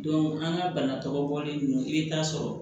an ka bana tɔgɔ bɔlen ninnu i bɛ taa sɔrɔ